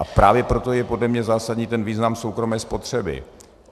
A právě proto je podle mě zásadní ten význam soukromé spotřeby.